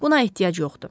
Buna ehtiyac yoxdur.